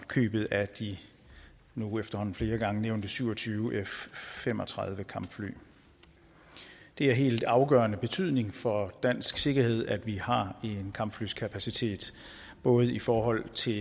købet af de nu efterhånden flere gange nævnte syv og tyve f fem og tredive kampfly det er af helt afgørende betydning for dansk sikkerhed at vi har en kampflykapacitet både i forhold til